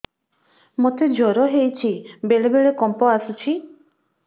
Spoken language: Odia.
ମୋତେ ଜ୍ୱର ହେଇଚି ବେଳେ ବେଳେ କମ୍ପ ଆସୁଛି